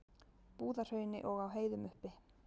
Búðahrauni og á heiðum uppi.